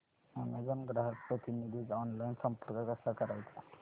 Amazon ग्राहक प्रतिनिधीस online संपर्क कसा करायचा